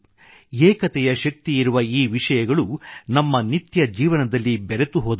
ಏಕತೆಯ ಶಕ್ತಿಯಿರುವ ಈ ವಿಷಯಗಳು ನಮ್ಮ ನಿತ್ಯ ಜೀವನದಲ್ಲಿ ಬೆರೆತುಹೋದವು